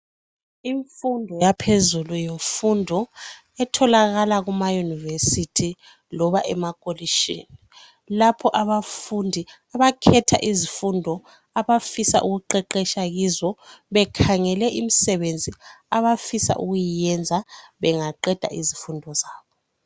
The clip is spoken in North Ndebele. Imfundo yaphezulu yofundo, etholakala kumayunivesithi loba emakholishini. Lapho abafundi abakhetha izifundo abafisa ukuqeqesha kuzo bekhangele imisebenzi abafisa ukuyenza bengaqeda izifundo zabo.